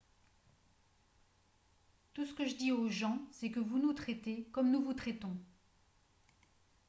tout ce que je dis aux gens c'est que vous nous traitez comme nous vous traitons